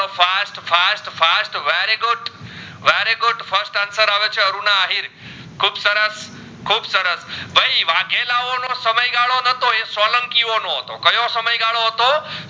એ સોલંકીઓ નો હતો કયો સમય ગડો હતો